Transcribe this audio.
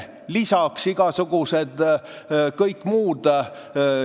Lisaks kõik muud.